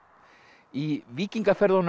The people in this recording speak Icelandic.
í